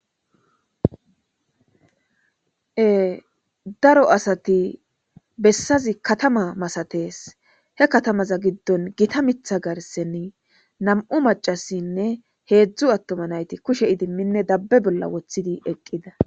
E daro asati bessazi katama masatees he katamaza giddon gita mitha garsen nam'u macasinne heedzdzu attoma nayti kushe idimminne dabbe bolla woththidi eqqis.